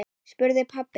spurði pabbi.